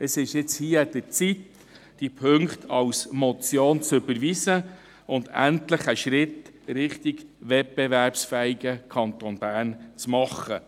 Es ist nun hier an der Zeit, diese Punkte als Motion zu überweisen und endlich einen Schritt in Richtung wettbewerbsfähigen Kanton Bern zu machen.